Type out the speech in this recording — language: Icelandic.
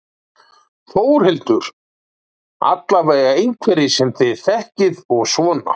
Þórhildur: Alveg einhverjir sem þið þekkið og svona?